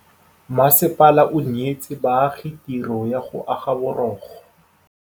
Masepala o neetse baagi tirô ya go aga borogo.